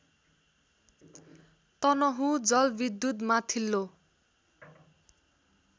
तनहुँ जलविद्युत् माथिल्लो